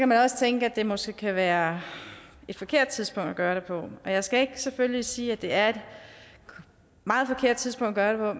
man også tænke at det måske kan være et forkert tidspunkt at gøre det på jeg skal selvfølgelig ikke sige at det er et meget forkert tidspunkt at gøre